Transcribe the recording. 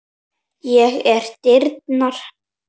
Ég er dyrnar.